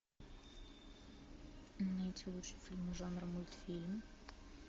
найти лучший фильм жанра мультфильм